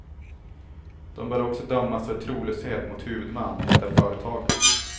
De bör också dömas för trolöshet mot huvudman, hävdar företaget.